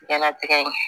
Ɲɛnatigɛ in